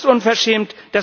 Das ist unverschämt.